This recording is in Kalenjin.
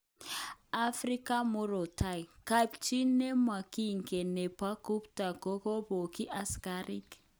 Africa murot tai:Kapchi nemokingen nebo Gupta kokobokyi asikarik